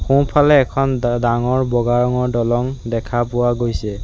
সোঁফালে এখন ডা ডাঙৰ বগা ৰঙৰ দলং দেখা পোৱা গৈছে।